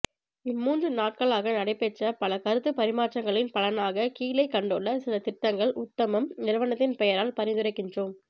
இம்மூன்று நாட்களாக நடைபெற்ற பல கருத்து பரிமாற்றங்களின் பலனாக கீழே கண்டுள்ள சில திட்டங்கள் உத்தமம் நிறுவனத்தின் பெயரால் பரிந்துரைக்கின்றோம்